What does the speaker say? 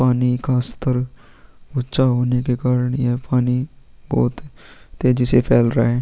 पानी का स्तर ऊँचा होने के कारण यह पानी बोहोत तेजी से फैल रहा हैं।